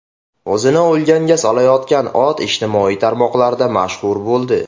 O‘zini o‘lganga solayotgan ot ijtimoiy tarmoqlarda mashhur bo‘ldi .